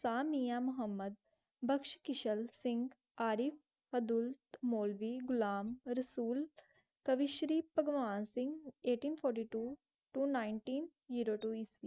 खान मिया मुहम्मद बख्श किशल सिंह आरिफ अब्दुल मौलवी घुलम रसोल पग Shri Bhagwan Singh eighteen fourty two to nineteen